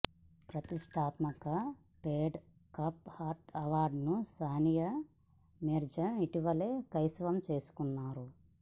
ప్రతిష్టాత్మక Fed Cup heart అవార్డును సానియా మీర్జా ఇటీవలే కైవసం చేసుకున్నారు